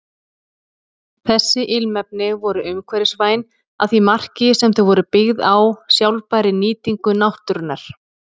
Þessi ilmefni voru umhverfisvæn að því marki sem þau voru byggð á sjálfbærri nýtingu náttúrunnar.